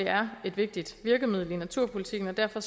er et vigtigt virkemiddel i naturpolitikken og derfor